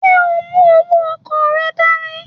Ṣe o mu owó ọkọ rẹ dání?